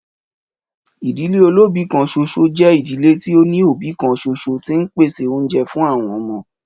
Ìdílé olóbìí kan ṣoṣo jẹ́ ìdílé tí ó ní òbí kan ṣoṣo tí ń pèsè oúnjẹ fún àwọn ọmọ.